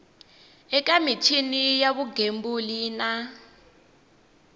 eka michini ya vugembuli na